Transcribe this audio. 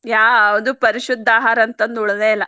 ಯಾವ್ದು ಪರಿಶುದ್ದ ಆಹಾರ ಅಂತಂದ್ ಉಳದೆಯಿಲ್ಲ.